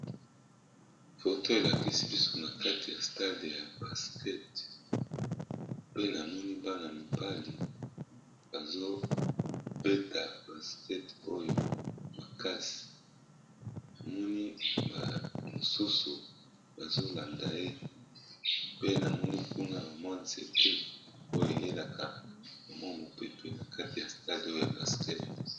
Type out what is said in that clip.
Foto elakisi biso na kati ya stade ya basket pe na moni bana mibali bazobeta basket oyo makasi namoni mosusu bazolanda ye pe namoni kuna bamwa nzete oyo eyelaka bamwa mopepe na kati ya stade oyo ya basket.